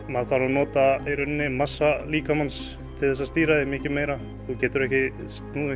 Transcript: maður þarf að nota massa líkamans til að stýra því mikið meira þú getur ekki snúið